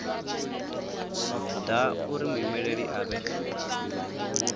ḓa uri muimeli a vhe